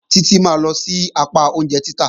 Títí máa lọ sí apá oúnjẹ títà.